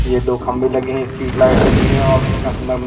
येह दो खंबे लगे हैं स्ट्रीट लाइट लगी है और कितना सुंदर--